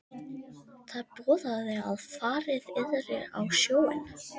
Það boðaði að farið yrði á sjóinn.